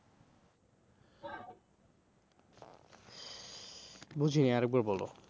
বুঝিনি আরেকবার বলো।